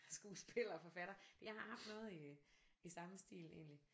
Skuespiller og forfatter jeg har haft noget i i samme stil egentlig